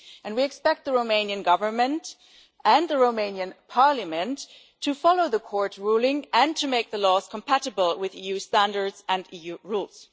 We expect the Romanian Government and the Romanian Parliament to follow the court ruling and to make the laws compatible with EU standards and EU rules.